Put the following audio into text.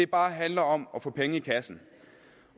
bare handler om at få penge i kassen